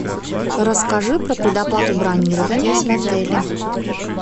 расскажи про предоплату бронирования в отеле